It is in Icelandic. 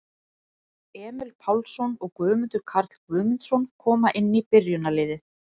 Emil Pálsson og Guðmundur Karl Guðmundsson koma inn í byrjunarliðið.